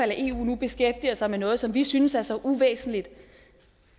eu nu beskæftiger sig med noget som vi synes er så uvæsentligt